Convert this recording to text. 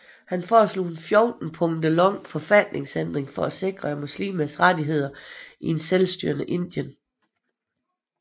Han foreslog en fjorten punkter lang forfatningsændring for at sikre muslimers rettigheder i et selvstyrende Indien